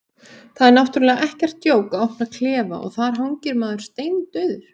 Það er náttúrlega ekkert djók að opna klefa og þar hangir maður, steindauður.